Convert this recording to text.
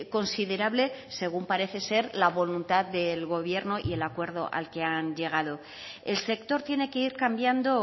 considerable según parece ser la voluntad del gobierno y el acuerdo al que han llegado el sector tiene que ir cambiando